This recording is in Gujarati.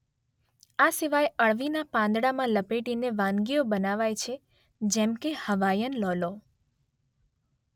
આ સિવાય અળવીના પાંદડામાં લપેટીને વાનગીઓ બનાવાય છે જેમ કે હવાઈયન લૌલૌ.